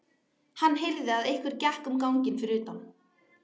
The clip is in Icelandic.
Hann heyrði að einhver gekk um ganginn fyrir utan.